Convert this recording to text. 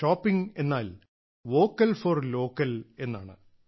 shopping എന്നാൽ vocal for local എന്നാണ്